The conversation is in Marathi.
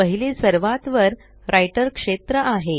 पहिले सर्वात वर राइटर क्षेत्र आहे